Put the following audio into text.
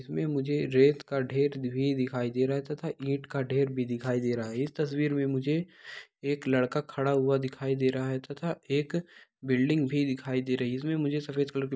इसमें मुझे रेत का ढेर भी दिखाई दे रहा है तथा ईट का ढेर भी दिखाई दे रहा है | इस तस्वीर में मुझे एक लड़का खड़ा हुआ दिखाई दे रहा है तथा एक बिल्डिंग भी दिखाई दे रही है | इसमें मुझे सफ़ेद कलर --